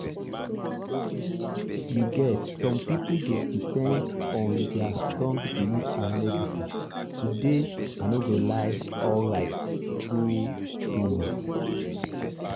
you get some people dey depend on their strong belief and medicine to dey i no go lie alright true-true.